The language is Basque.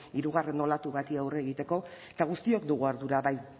hirugarren olatu bati aurre egiteko eta guztiok dugu ardura bai